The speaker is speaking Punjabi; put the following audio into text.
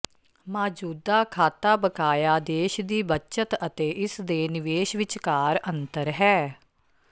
ਮੌਜੂਦਾ ਖਾਤਾ ਬਕਾਇਆ ਦੇਸ਼ ਦੀ ਬੱਚਤ ਅਤੇ ਇਸਦੇ ਨਿਵੇਸ਼ ਵਿਚਕਾਰ ਅੰਤਰ ਹੈ